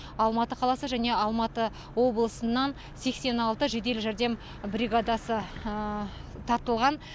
алматы қаласы және алматы облысынан сексен алты жедел жәрдем бригадасы тартылған